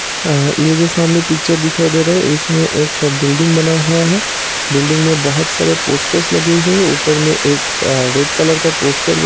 ये जो सामने पिच्चर दिखाई दे रहा है इसमें एक बिल्डिंग बना हुआ है| बिल्डिंग में बहुत सारे पोस्टर्स लगे हुए है| ऊपर में एक रेड कलर का पोस्टर्स बना हुआ है।